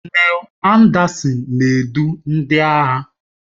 Kọnel Anderson na-edu ndị agha